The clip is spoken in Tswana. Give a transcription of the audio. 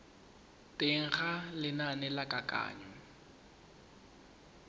teng ga lenane la kananyo